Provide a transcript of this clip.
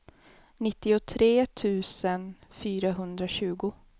nittiotre tusen fyrahundratjugo